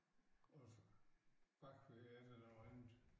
Og så bagved er der noget andet